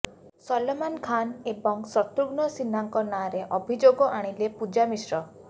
ସଲମାନ ଖାନ୍ ଏବଂ ଶତ୍ରୁଘ୍ନ ସିହ୍ନାଙ୍କ ନାଁରେ ଅଭିଯୋଗ ଆଣିଲେ ପୂଜା ମିଶ୍ରା